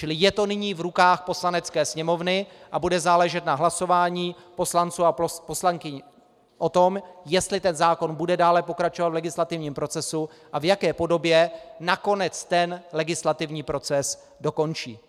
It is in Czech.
Čili je to nyní v rukách Poslanecké sněmovny a bude záležet na hlasování poslanců a poslankyň o tom, jestli ten zákon bude dále pokračovat v legislativním procesu a v jaké podobě nakonec ten legislativní proces dokončí.